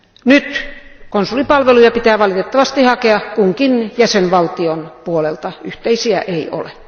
Nyt konsulipalveluita pitää valitettavasti hakea kunkin jäsenvaltion puolelta, yhteisiä ei ole.